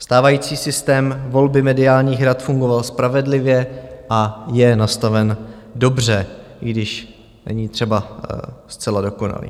Stávající systém volby mediálních rad fungoval spravedlivě a je nastaven dobře, i když není třeba zcela dokonalý.